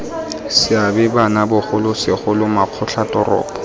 seabe bano bogolo segolo makgotlatoropo